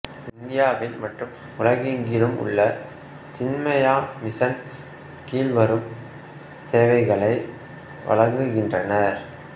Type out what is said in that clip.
இந்தியாவில் மற்றும் உலகெங்கிலும் உள்ள சின்மயாமிசன் கீழ்வரும் சேவைகளை வழங்குகின்றனர்